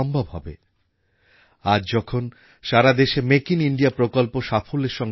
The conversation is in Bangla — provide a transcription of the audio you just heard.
আজ যখন সারা দেশে মেক ইন ইণ্ডিয়া প্রকল্প সাফল্যের সঙ্গে অগ্রসর হচ্ছে তখন তাঁর সেই স্বপ্নদর্শীতাই আমাদের প্রেরণা